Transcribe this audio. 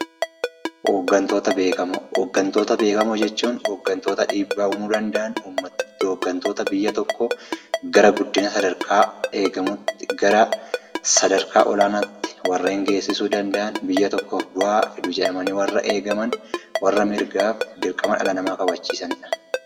Hoggantoota Beekamoo: Hoggantoota beekamoo jechuun hoggantoota dhiibbaa uumuu danda’an akkasumas hoggantoota biyya tokko gara guddina sadarkaa eegamuutti, sadarkaa olaanaatti warreen geessisuu danda’an biyya tokkoof bu'aa fidu jedhamanii warra eegaman warra morgaaf dirqama dhala namaa kabachiisanidha.